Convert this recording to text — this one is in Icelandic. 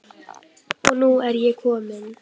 Og nú er ég komin!